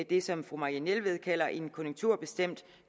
det som fru marianne jelved kalder en konjunkturbestemt